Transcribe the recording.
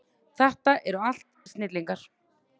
Þetta eru allt snillingar.